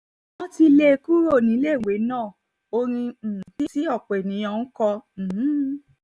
wọ́n ti lé e kúrò níléèwé ná ní orin um tí ọ̀pọ̀ èèyàn ń kọ um